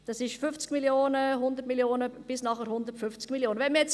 Das sind 50 Mio., 100 Mio. bis nachher 150 Mio. Franken.